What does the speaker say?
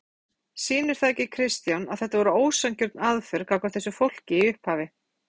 Fréttamaður: Sýnir það ekki Kristján að þetta voru ósanngjörn aðför gagnvart þessu fólki í upphafi?